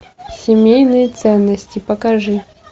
семейные ценности покажи